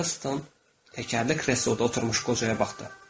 Heyston təkərli kresloda oturmuş qocaya baxdı.